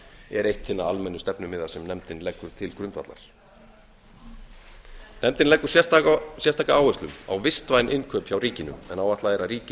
er eitt hinna almennu stefnumiða sem nefndin leggur til grundvallar nefndin leggur sérstaka áherslu á vistvæn innkaup hjá ríkinu en áætlað er að ríkið